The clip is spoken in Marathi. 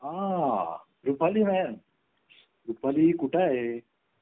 आह रुपाली mam रुपाली कुठे आहे